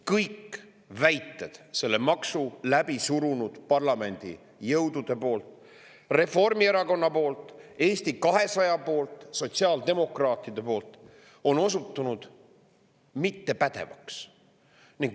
Kõik selle maksu läbi surunud parlamendijõudude väited – Reformierakonna poolt, Eesti 200 poolt, sotsiaaldemokraatide poolt – on osutunud mittepädevaks.